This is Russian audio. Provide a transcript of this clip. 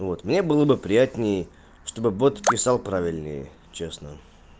мне было бы приятнее что бы бот подписал правильнее честно